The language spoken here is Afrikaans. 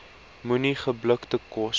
moenie geblikte kos